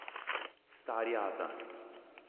Stari ata!